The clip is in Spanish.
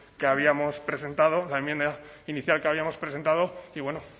que habíamos presentado la enmienda inicial que habíamos presentado y bueno